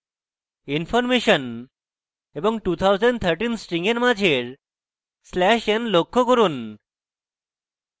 information এবং 2013 string এর মাঝের slash n লক্ষ্য করুন